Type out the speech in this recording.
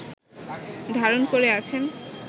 ধারণ করে আছেন